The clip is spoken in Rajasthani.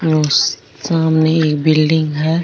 यो सामने एक बिलडिंग है।